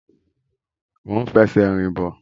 Mo ń fẹ́ ṣe rìn bọ̀